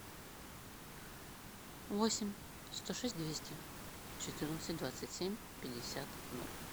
восемь сто шесть двести четырнадцать двадцать семь пятьдесят ноль